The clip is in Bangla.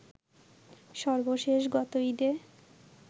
সর্বশেষ গত ঈদে